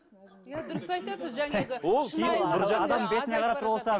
иә дұрыс айтасыз жаңағы